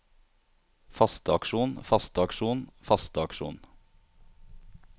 fasteaksjon fasteaksjon fasteaksjon